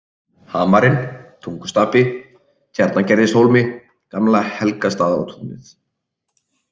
Hamarinn, Tungustapi, Tjarnagerðishólmi, Gamla Helgastaðatúnið